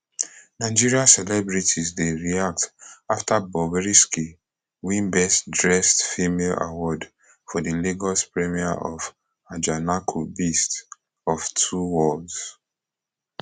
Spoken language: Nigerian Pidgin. nigeria celebrities dey react afta bobrisky win best dressed female award for di lagos premier of ajanaku beast of two worlds